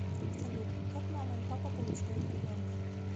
салют как мама и папа получают ребенка